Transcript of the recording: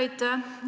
Aitäh!